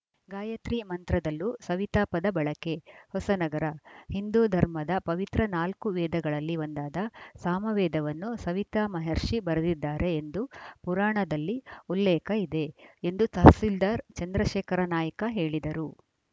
ಗಾಯತ್ರಿ ಮಂತ್ರದಲ್ಲೂ ಸವಿತಾ ಪದ ಬಳಕೆ ಹೊಸನಗರ ಹಿಂದೂ ಧರ್ಮದ ಪವಿತ್ರ ನಾಲ್ಕು ವೇದಗಳಲ್ಲಿ ಒಂದಾದ ಸಾಮವೇದವನ್ನು ಸವಿತಾ ಮಹರ್ಷಿ ಬರೆದಿದ್ದಾರೆ ಎಂದು ಪುರಾಣದಲ್ಲಿ ಉಲ್ಲೇಖ ಇದೆ ಎಂದು ತಹಸೀಲ್ದಾರ್‌ ಚಂದ್ರಶೇಖರ ನಾಯ್ಕ ಹೇಳಿದರು